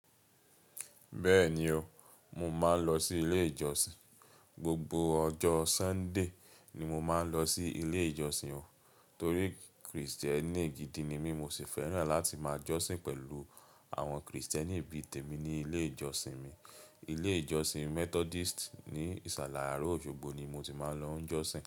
Bẹ́ẹ̀ni o, mo máa ń lọ sí ilé ìjọsìn. Gbogbo ọjọ́ Sunday ni mo máa ń lọ sí ilé ìjọsìn o, torí Kristẹni gidi ni mí, mo sì fẹ́ràn láti máa jọ́sìn pẹ̀lú àwọn Kristẹni bii tèmi ní ilé ìjọsìn mi. Ilé ìjọsìn Methodist ní ìsàlẹ̀ Àárọ̀ Òṣogbo ni mo ti máa ń lọ jọ́sìn.